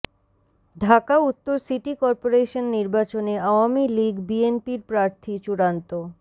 ঢাকা উত্তর city corporation নির্বাচন আওয়ামী লীগ বিএনপির প্রার্থী চূড়ান্ত